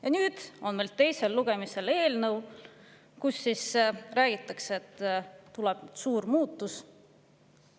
Ja nüüd on meil teisel lugemisel eelnõu, kus räägitakse, et tuleb suur muutus.